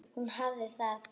Hún hafði það.